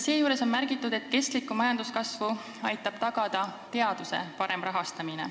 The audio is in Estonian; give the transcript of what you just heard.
Seejuures on märgitud, et kestlikku majanduskasvu aitab tagada teaduse parem rahastamine.